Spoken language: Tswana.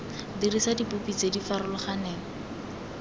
dirisa dipopi tse di farologaneng